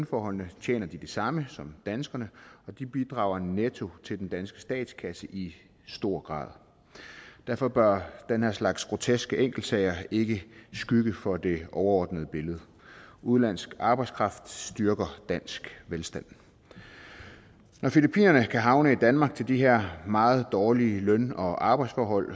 forholdene tjener de det samme som danskerne og de bidrager netto til den danske statskasse i stor grad derfor bør den her slags groteske enkeltsager ikke skygge for det overordnede billede udenlandsk arbejdskraft styrker dansk velstand når filippinerne kan havne i danmark til de her meget dårlige løn og arbejdsforhold